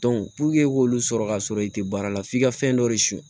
i k'olu sɔrɔ ka sɔrɔ i tɛ baara la f'i ka fɛn dɔ de suɲɛ